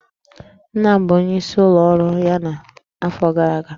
Nna m bụ onyeisi n'ụlọ ọrụ ya n'afọ gara aga